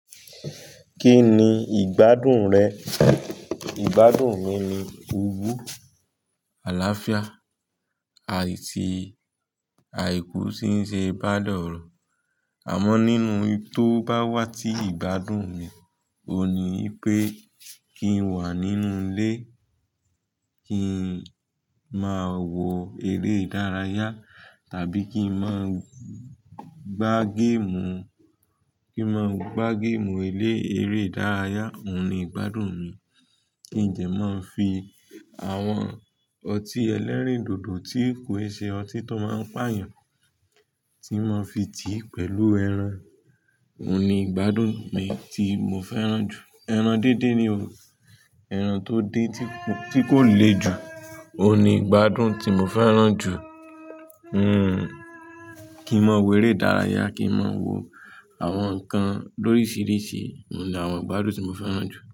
Kí ni ìgbádùn rẹ? Ìgbádùn mi ni owo, àlàáfíà, à iti àìkú sí ṣe pálọ̀ro. Àmọ́ nínú iyi tó bá wá tí ìgbádùn ni, òun ni i pé kí n wà nínú ilé, kí n máa wo eré ìdárayá, tàbí kí n máa gbá géèmù, kí n máa gbá géèmù elé-éré ìdárayá, òun ni ìgbádùn mi. Kí n dẹ máa fi àwọn ọtí ẹlẹ́rìndòdò tí kò n ṣe ọtí tó máa ń pààyàn, tí máa fi tí pẹ̀lú ẹran, òun ni ìgbádùn mi tí mo fẹ́ràn jù. Ẹran díndín ni o. Ẹran tó dé tí ku, ti ko le jù, òun ni ìgbádùn tí mo fẹ́ràn jù. Hmm, kí n máa wo eré ìdárayá, kí n máa wo àwọn nǹkan lórísìíríṣìí, òun ni àwọn ìgbádùn tí mo fẹ́ràn jù.